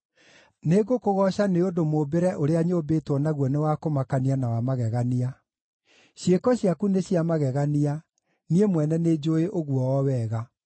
Nĩngũkũgooca nĩ ũndũ mũũmbĩre ũrĩa nyũmbĩtwo naguo nĩ wa kũmakania na wa magegania; ciĩko ciaku nĩ cia magegania, niĩ mwene nĩnjũũĩ ũguo o wega.